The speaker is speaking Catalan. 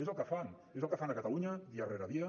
és el que fan és el que fan a catalunya dia rere dia